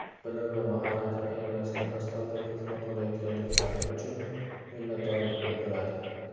bilim va mahoratini ayamasdan astoydil xizmat qilayotganliklari uchun minnatdorlik bildiradi!.